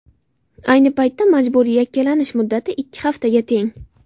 Ayni paytda majburiy yakkalanish muddati ikki haftaga teng.